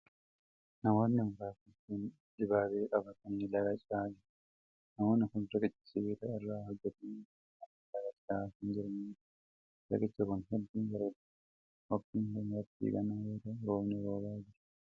Namoonni muraasni kun, dibaabee qabatanii laga ce'aa jiru. Namoonni kun riqicha sibiila irraa hojjatame irra darbanii laga ce'aa kan jiran yoo ta'u, riqichi kun hedduu bareedaa dha. Waqtiin kun waqtii gannaa yoo ta'u, roobni roobaa jira.